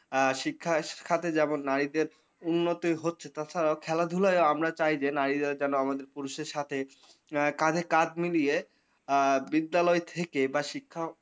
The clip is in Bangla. আ শিক্ষায় শিখাতে যেমন না এতে উন্নতি হচ্ছে তথা খেলাধুলায় আমরা চাই যে নারীরাও যেনো আমাদের পুরুষের সাথে আ কাঁধে কাঁধ মিলিয়ে আ বিদ্যালয় থেকে বা শিক্ষা।